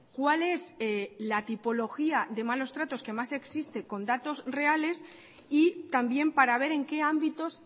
cuál es la tipología de malos tratos que más existe con datos reales y también para ver en qué ámbitos